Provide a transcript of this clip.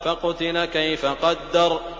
فَقُتِلَ كَيْفَ قَدَّرَ